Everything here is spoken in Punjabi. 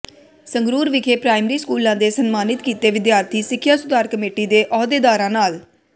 ਸੰਗਰੂਰ ਵਿਖੇ ਪ੍ਰਾਇਮਰੀ ਸਕੂਲਾਂ ਦੇ ਸਨਮਾਨਿਤ ਕੀਤੇ ਵਿਦਿਆਰਥੀ ਸਿੱਖਿਆ ਸੁਧਾਰ ਕਮੇਟੀ ਦੇ ਅਹੁਦੇਦਾਰਾਂ ਨਾਲ